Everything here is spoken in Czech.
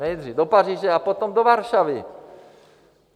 Nejdřív do Paříže a potom do Varšavy.